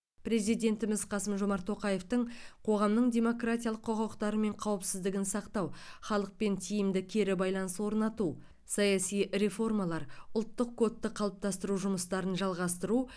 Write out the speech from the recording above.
президентіміз қасым жомарт тоқаевтың қоғамның демократиялық құқықтары мен қауіпсіздігін сақтау халықпен тиімді кері байланыс орнату саяси реформалар ұлттық кодты қалыптастыру жұмыстарын жалғастыру